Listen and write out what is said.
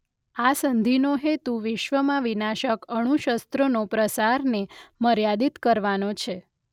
આ સંધિનો હેતુ વિશ્વમાં વિનાશક અણુશસ્રોના પ્રસારને મર્યાદિત કરવાનો છે.